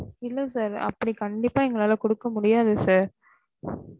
இல்ல sir அப்டி கண்டிப்பா எங்களால குடுக்க முடியாது sir